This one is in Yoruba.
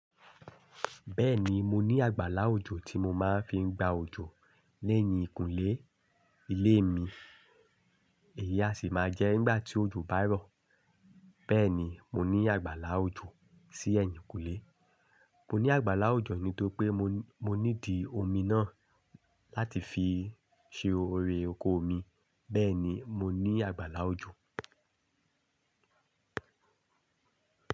Bẹ́ẹ̀ni, mo ní àgbàlá òjò tí mo máa ń fi gba òjò lẹ́yìn ìkúlé ilé mi. Èyí á sì máa jẹ́ nígbà tí òjò bá rọ̀. Bẹ́ẹ̀ ni, mo ní àgbàlá òjò sí ẹ̀yìnkùlé. Mo ní àgbàlá òjò nítorí pé mo níidi omi náà láti fi ṣe orí oko omi. Bẹ́ẹ̀ni, mo ní àgbàlá òjò.